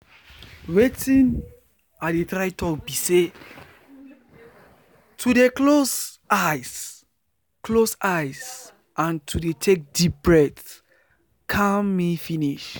relax you sabi say one thing dey calming if person stay focus for only hin own oxygen wey e dey take in and out.